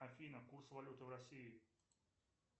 афина курс валюты в россии